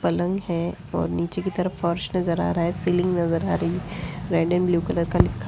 पलंग हैं और नीचे की तरफ फर्श नज़र आ रहा है सीलिंग नज़र आ रही है। रेड एण्ड ब्लू कलर का कुछ लिखा ह ---